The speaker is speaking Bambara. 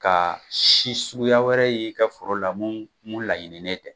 Ka si suguya wɛrɛ ye i ka foro la mu laɲinin nen tɛ